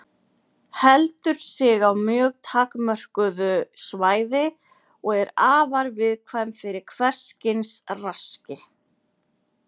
Heldur sig á mjög takmörkuðu svæði og er afar viðkvæm fyrir hvers kyns raski.